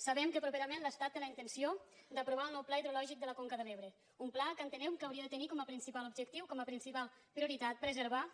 sabem que properament l’estat té la intenció d’aprovar el nou pla hidrològic de la conca de l’ebre un pla que entenem que hauria de tenir com a principal objectiu com a principal prioritat preservar